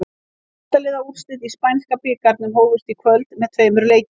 Átta liða úrslitin í spænska bikarnum hófust í kvöld með tveimur leikjum.